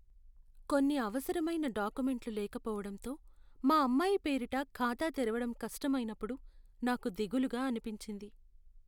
కొన్ని అవసరమైన డాక్యుమెంట్లు లేకపోవటంతో మా అమ్మాయి పేరిట ఖాతా తెరవడం కష్టమైనప్పుడు నాకు దిగులుగా అనిపించింది.